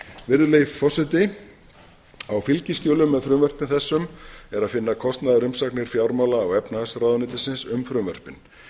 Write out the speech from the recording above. virðulegi forseti á fylgiskjölum með frumvörpum þessum er að finna kostnaðarumsagnir fjármála og efnahagsráðuneytisins um frumvörpin